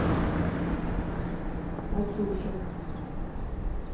катюша